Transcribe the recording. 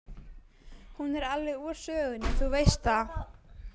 Hún er alveg úr sögunni, þú veist það.